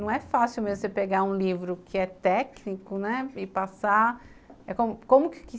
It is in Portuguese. Não é fácil mesmo você pegar um livro que é técnico, né e passar.